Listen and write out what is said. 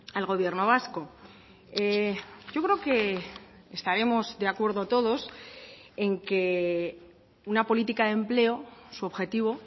al gobierno vasco yo creo que estaremos de acuerdo todos en que una política de empleo su objetivo